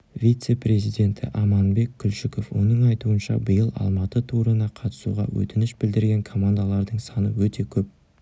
вице-президенті аманбек күлшіков оның айтуынша биыл алматы турына қатысуға өтініш білдірген командалардың саны өте көп